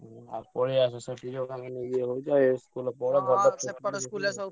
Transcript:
ହୁଁ ଆଉ ପଳେଇଆସ ସେଠି ସବୁ ଇଏ ହଉଛ ଏ ।